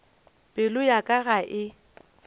pelo ya ka ga e